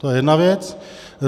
To je jedna věc.